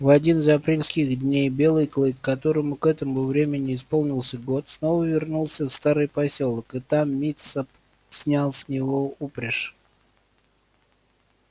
в один из апрельских дней белый клык которому к этому времени исполнился год снова вернулся в старый посёлок и там мит са снял с него упряжь